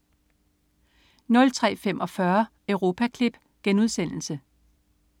03.45 Europaklip*